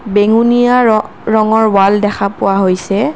বেঙুনীয়া ৰ ৰঙৰ ৱাল দেখা পোৱা হৈছে।